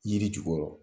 Yiri jukɔrɔ